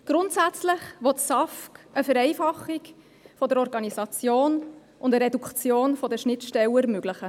Grundsätzlich will das SAFG eine Vereinfachung der Organisation und eine Reduktion der Schnittstellen ermöglichen.